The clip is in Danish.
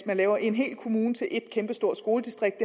at lave en hel kommune til et kæmpestort skoledistrikt